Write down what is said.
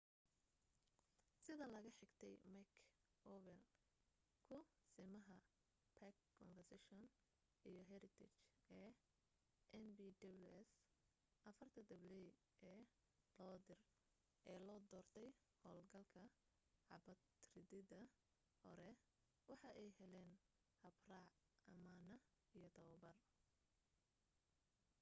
sida laga xigtay mick o'flynn kusimaha park conservation iyo heritage ee npws afarta dabley ee loo doortay howl galka xabad ridida hore waxa ay heleen habraac amaana iyo tababar